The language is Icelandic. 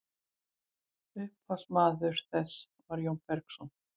upphafsmaður þess var jón bergsson